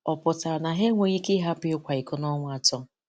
Ọ̀ pụtara na ha enweghị ike ị̀hapụ ị́kwa ìkò ọnwa atọ?